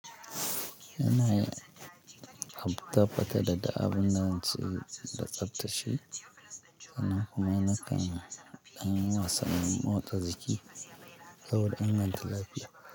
Yanayi abtafata da daddabun da an tsiro da tsaftace, san nan kuma na kan yi. An wasan motsa jiki saboda inganta lafiya.